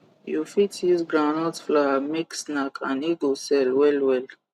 u fit use groundnut flour make snack and e go sell well well